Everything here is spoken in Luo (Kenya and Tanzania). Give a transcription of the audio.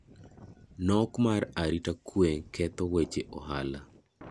Nok mar arite kwe ketho weche ohala.